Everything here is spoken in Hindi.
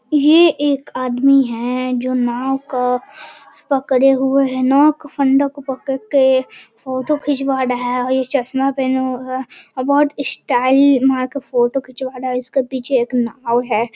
ये एक आदमी है जो नाव का पकड़े हुए है। नाव का फंडा को पकड़ के फोटो खिचवा रहा है और ये चश्मा पहना हुआ है और बोहोत इस स्टाइल मार के फोटो खिचवा रहा है। इसके पीछे एक नाव है।